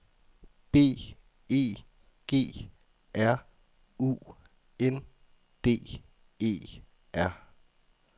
B E G R U N D E R